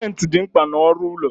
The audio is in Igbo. Simenti dị mkpa na ọrụ ụlọ